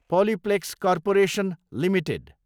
Polyplex corporation Ltd